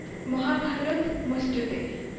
Mahabharata মস্তুতে